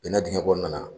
Bɛnna dingɛ kɔnɔna na